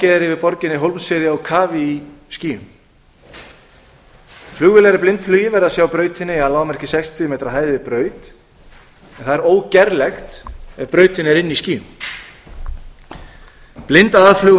yfir borginni yrði hólmsheiði á kafi í skýjum flugvélar í blindflugi verða að sjá brautina í að lágmarki sextíu metra hæð yfir braut en það er ógerlegt ef brautin er inni í skýjum blindaðflug úr